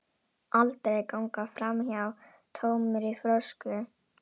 Aldrei ganga framhjá tómri flösku.